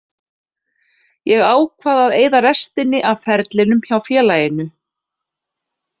Ég ákvað að eyða restinni af ferlinum hjá félaginu.